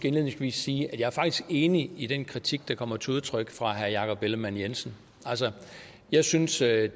indledningsvis sige at jeg faktisk er enig i den kritik der kommer til udtryk fra herre jakob ellemann jensen altså jeg synes der er